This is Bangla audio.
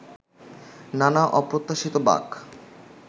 নানা অপ্রত্যাশিত বাঁক